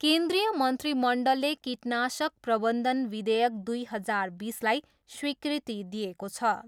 केन्द्रिय मन्त्रीमण्डलले कीटनाशक प्रबन्धन विधेयक दुई हजार बिसलाई स्वीकृति दिएको छ।